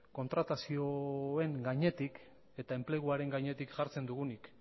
kontratazioen gainetik eta enpleguaren gainetik jartzen dugunik